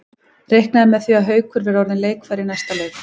Reiknað er með því að Haukur verði orðinn leikfær í næsta leik.